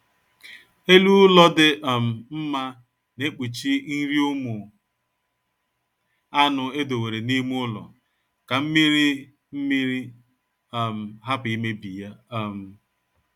Elu ụlọ dị um mma na-ekpuchi nri ụmụ anụ edowere n'ime ụlọ ka mmiri mmiri um hapụ imebi ya um